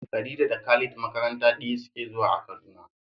Khadija da Khalid makaranta ɗaya suke zuwa a Kaduna.